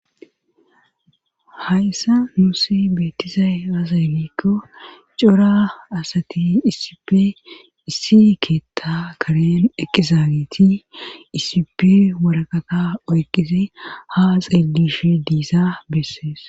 hayssa nuusi beettizay aze gikko cora asati issipe issi keetta karen eqqizaagiti issipe waraqata oyqide ha xeelishi diisa bessees